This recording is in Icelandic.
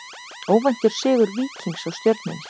Óvæntur sigur Víkings á Stjörnunni